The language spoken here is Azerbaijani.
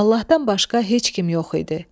Allahdan başqa heç kim yox idi.